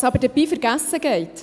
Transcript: Was aber dabei vergessen geht: